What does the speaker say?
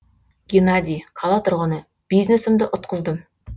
геннадий қала тұрғыны бизнесімді ұтқыздым